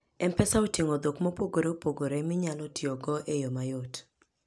M-Pesa oting'o dhok mopogore opogore minyalo tiyogo e yo mayot.